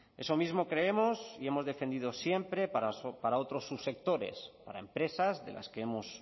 eso mismo creemos y hemos defendido siempre para otros subsectores para empresas de las que hemos